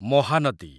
Mahanadi